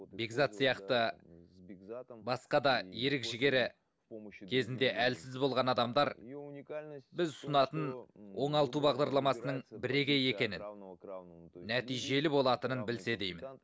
бекзат сияқты басқа да ерік жігері кезінде әлсіз болған адамдар біз ұсынатын оңалту бағдарламасының бірегей екенін нәтижелі болатынын білсе деймін